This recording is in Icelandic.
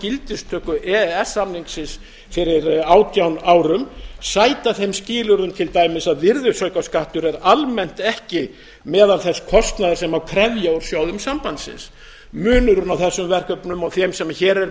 gildistöku e e s samningsins fyrir átján árum sæta þeim skilyrðum til dæmis að virðisaukaskattur er almennt ekki meðal þess kostnaðar sem má krefja úr sjóðum sambandsins munurinn á þessum verkefnum og þeim sem hér er verið